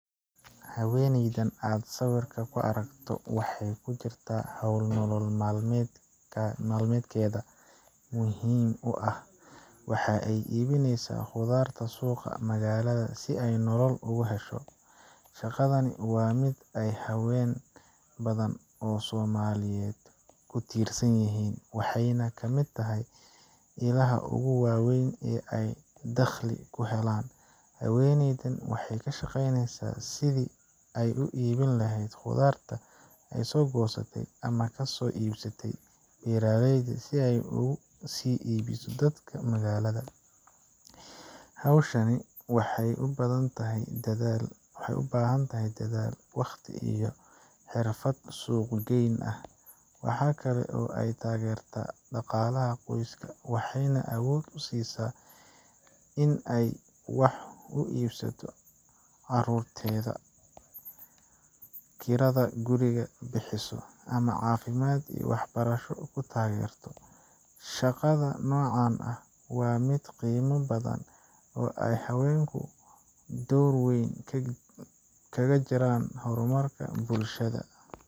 Haweeneydan aad sawirka ku aragto waxay ku jirtaa hawl nolol maalmeedkeeda muhiim u ah waxa ay iibinaysaa khudaar suuqa magaalada si ay nolol ugu hesho. Shaqadani waa mid ay haween badan oo Soomaaliyeed ku tiirsan yihiin, waxayna ka mid tahay ilaha ugu waaweyn ee ay dakhli ku helaan. Haweeneydan waxay ka shaqaynaysaa sidii ay u iibin lahayd khudaarta ay soo goostay ama ka soo iibsatay beeraleyda si ay ugu sii iibiso dadka magaalada. Hawshaasi waxay u baahan tahay dadaal, waqti, iyo xirfad suuq geyn ah. Waxa kale oo ay taageertaa dhaqaalaha qoyska, waxayna awood u siisaa in ay wax u iibsato carruurteeda, kirada guriga bixiso, ama caafimaad iyo waxbarasho ku taageerto. Shaqada noocan ah waa mid qiimo badan oo ay haweenku door weyn kaga jiraan horumarka bulshada.